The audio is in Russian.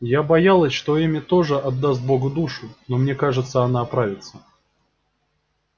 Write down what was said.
я боялась что эмми тоже отдаст богу душу но мне кажется она оправится